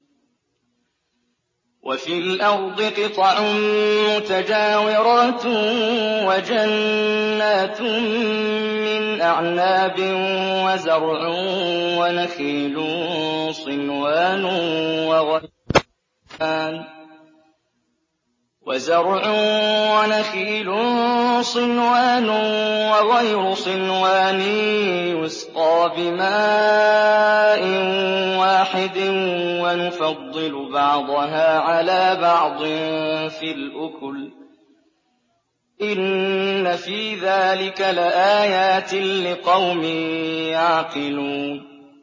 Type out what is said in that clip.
وَفِي الْأَرْضِ قِطَعٌ مُّتَجَاوِرَاتٌ وَجَنَّاتٌ مِّنْ أَعْنَابٍ وَزَرْعٌ وَنَخِيلٌ صِنْوَانٌ وَغَيْرُ صِنْوَانٍ يُسْقَىٰ بِمَاءٍ وَاحِدٍ وَنُفَضِّلُ بَعْضَهَا عَلَىٰ بَعْضٍ فِي الْأُكُلِ ۚ إِنَّ فِي ذَٰلِكَ لَآيَاتٍ لِّقَوْمٍ يَعْقِلُونَ